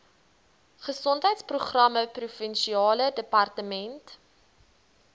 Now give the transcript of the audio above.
gesondheidsprogramme provinsiale departement